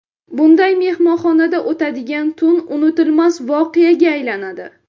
Bunday mehmonxonada o‘tadigan tun unutilmas voqeaga aylanadi.